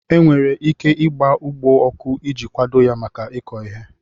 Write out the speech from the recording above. E nwere ike ịgba ugbo ọkụ iji kwado ya maka iko ihe.